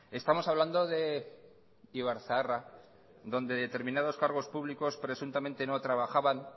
estamos hablando de ibarzaharra donde determinados cargos públicos presuntamente no trabajaban